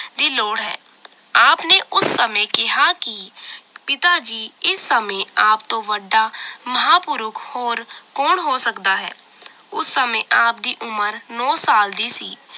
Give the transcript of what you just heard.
ਦੀ ਲੋੜ ਹੈ ਆਪ ਨੇ ਉਸ ਸਮੇਂ ਕਿਹਾ ਕਿ ਪਿਤਾ ਜੀ ਇਸ ਸਮੇਂ ਆਪ ਤੋਂ ਵੱਡਾ ਮਹਾਪੁਰਖ ਹੋਰ ਕੌਣ ਹੋ ਸਕਦਾ ਹੈ ਉਸ ਸਮੇਂ ਆਪ ਦੀ ਉਮਰ ਨੌਂ ਸਾਲ ਦੀ ਸੀ